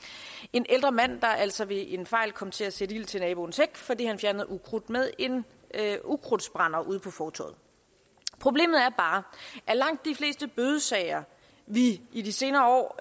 en ældre mand der altså ved en fejl kom til at sætte ild til naboens hæk fordi han fjernede ukrudt med en ukrudtsbrænder ude på fortovet problemet er bare at langt de fleste bødesager vi i de senere år